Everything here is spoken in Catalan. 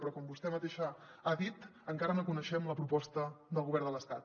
però com vostè mateixa ha dit encara no coneixem la proposta del govern de l’estat